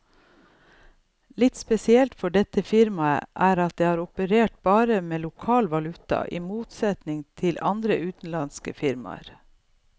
Litt spesielt for dette firmaet er at det har operert bare med lokal valuta, i motsetning til andre utenlandske firmaer.